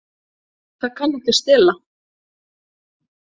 Það kann ekki að stela.